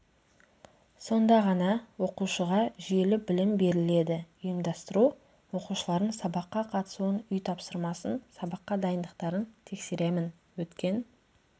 сонда ғана оқушыға жүйелі білім беріледі ұйымдастыру оқушылардың сабаққа қатысуын үй тапсырмасын сабаққа дайындықтарын тексеремін өткен